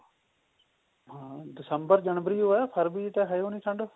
ਹਾਂ ਦਿਸੰਬਰ ਜਨਵਰੀ ਓ ਐ ਫਰਵਰੀ ਤਾਂ ਹੈ ਓ ਨਹੀਂ ਠੰਡ